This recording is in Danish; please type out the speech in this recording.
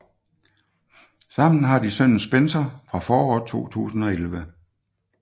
Sammen har de sønnen Spencer fra foråret 2011